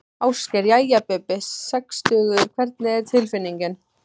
Ásgeir: Jæja Bubbi, sextugur hvernig er tilfinningin?